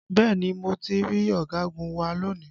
Bẹ́ẹ̀ni mo ti rí ọ̀gagun wa lónìí